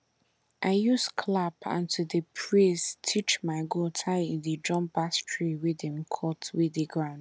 i use clap and to dey praise teach my goat how to dey jump pass tree wey dem cut wey dey ground